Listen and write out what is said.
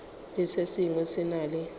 le se sengwe se na